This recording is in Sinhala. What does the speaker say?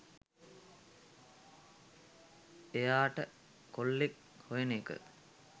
එයාට කොල්ලෙක් හොයන එක